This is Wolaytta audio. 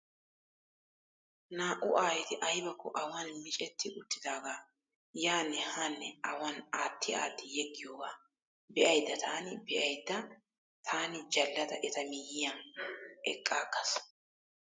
Naa"u ayyeti aybakko awan micetti uttidagaa yaanne haanne awan atti atti yeggiyoogaa ba'aydda taani be'aydda taani jaallada eta miyiyaa eqqaagas.